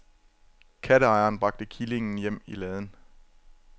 Katteejeren bragte killingen hjem i laden.